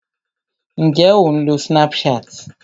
Ǹjé o ń lo Snapchat?